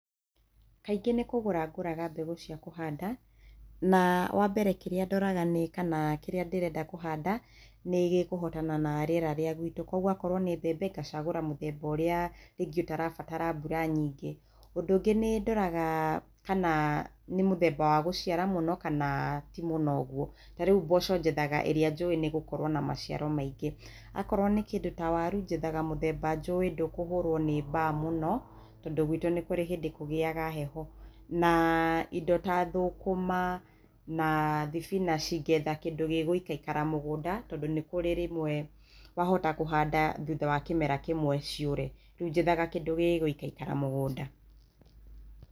Kaingĩ nĩ kũgũra ngũraga mbegũ cia kũhanda, naa wambere kĩrĩa ndoraga nĩ kana kĩrĩa ndĩrenda kũhanda, nĩgĩkũhotana na rĩera rĩa gwitũ, kuoguo akorwo nĩ mbembe, ngacagũra mũthemba ũrĩa rĩngĩ ũtarabatara mbura nyingĩ. Ũndũ ũngĩ nĩndoraga kana nĩ mũthemba wa gũciara mũno kana ti mũno ũguo. Tarĩu mboco njethaga ĩrĩa njũĩ nĩĩgũkorwo na maciaro maingĩ. Akorwo nĩ kĩndũ ta waru, njethaga mũthemba njũĩ ndũkũhũrwo nĩ mbaa mũno tondũ gwitũ nĩ kũrĩ hĩndĩ kũgĩaga heho naa indo ta thũkũma na thibinaci, ngetha kĩndũ gĩgũikaikara mũgũnda tondũ nĩ kũrĩ rĩmwe wahota kũhanda thutha wa kĩmera kĩmwe ciũre, rĩu njethaga kĩndũ gĩgũikarakara mũgũnda.